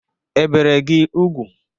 E bere gị ugwu?